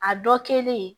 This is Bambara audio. A dɔ kɛlen